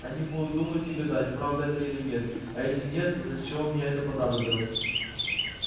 они будут думать и гадать правда это или нет а если нет то для чего мне это понадобилось